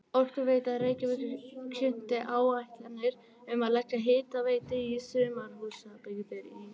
Orkuveita Reykjavíkur kynnti áætlanir um að leggja hitaveitu í sumarhúsabyggðir í